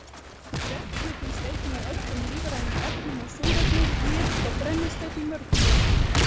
Vetni finnst einnig í öllum lífrænum efnum og súrefni, nitur og brennisteinn í mörgum þeirra.